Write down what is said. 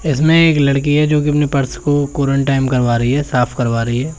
इसमें एक लड़की है जो कि अपने पर्स को कोरेंटाइन करवा रही है साफ करवा रही है।